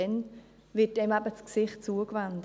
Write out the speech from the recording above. Dann wird einem eben das Gesicht zugewendet.